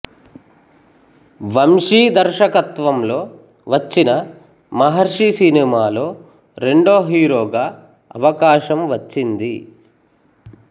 వంశీ దర్శకత్వంలో వచ్చిన మహర్షి సినిమాలో రెండో హీరోగా అవకాశం వచ్చింది